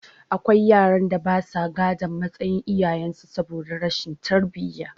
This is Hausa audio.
Akwai yaran da basa gadon matsayin iyayen su saboda rashin tarbiyya